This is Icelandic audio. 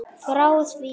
Frá því